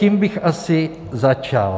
Tím bych asi začal.